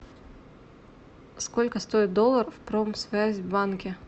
сколько стоит доллар в промсвязьбанке